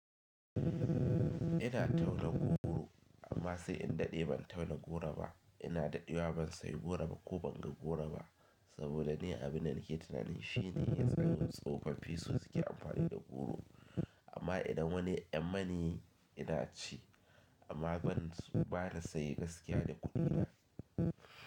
Ina tauna goro amma sai in daɗe ban tauna goro ba. Ina daɗewa ban sayi goro ba ko ban ga goro ba saboda ni abin da nake tunanin shine yanzu kaman tsofaffi. Fisu suke amfani da goro amma idan wani ya tsammani ina ci amma ban su bani saye gaskiya da kuɗina.